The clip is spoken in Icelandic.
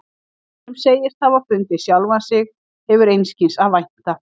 Sá sem segist hafa fundið sjálfan sig hefur einskis að vænta.